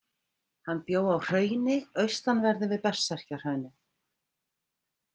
Hann bjó á Hrauni, austanverðu við Berserkjahraunið.